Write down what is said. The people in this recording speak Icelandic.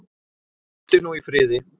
Hvíldu nú í friði.